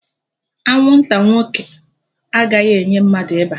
Anwụnta nwoke agaghị enye mmadụ ịba